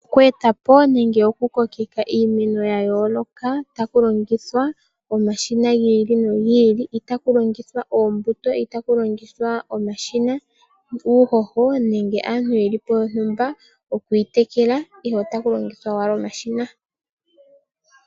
Okweetapo nenge oku kokeka iimeno ya yooloka taku longithwa omashina gi nogi ili . Itaku longithwa oombuto, omashina ,uuhoho nenge aantu yelipo okuyi tekela ihe otaku longithwa owala omashina